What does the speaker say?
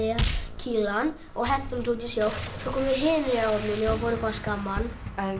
kýla hann og henti honum út í sjó svo komu hinir í áhöfninni og voru eitthvað að skamma hann